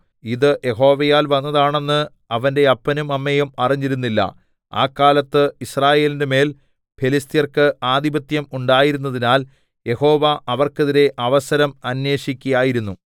ഇത് യഹോവയാൽ വന്നതാണെന്ന് അവന്റെ അപ്പനും അമ്മയും അറിഞ്ഞിരുന്നില്ല ആ കാലത്ത് യിസ്രായേലിന്റെ മേൽ ഫെലിസ്ത്യർക്ക് ആധിപത്യം ഉണ്ടായിരുന്നതിനാൽ യഹോവ അവർക്കെതിരെ അവസരം അന്വേഷിക്കയായിരുന്നു